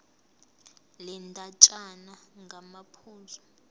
le ndatshana ngamaphuzu